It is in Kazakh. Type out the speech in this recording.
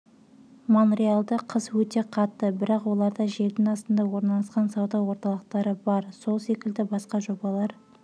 монреалда қыс өте қатты бірақ оларда жердің астында орналасқан сауда орталықтары бар сол секілді басқа жобалар